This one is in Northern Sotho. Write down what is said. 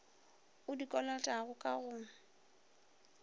o di kolotago ka go